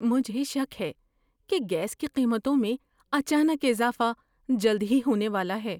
مجھے شک ہے کہ گیس کی قیمتوں میں اچانک اضافہ جلد ہی ہونے والا ہے۔